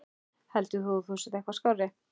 Heldur þú að þú sért eitthvað skárri?